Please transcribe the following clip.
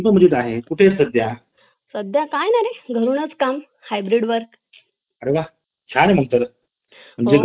आणि दीर्घकालीन अलगीकरणा ने मनुष्या ची कुणी तरी आपले ऐकावे असं वाटाय ला लागले आता